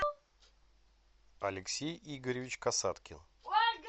алексей игоревич касаткин